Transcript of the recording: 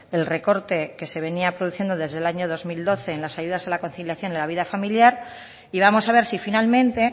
el recorte que se venía produciendo desde el año dos mil doce en las ayudas a la conciliación y la vida familiar y vamos a ver si finalmente